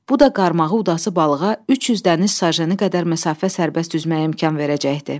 Bu da qarmağı udası balığa 300 dəniz sajeni qədər məsafə sərbəst üzməyə imkan verəcəkdi.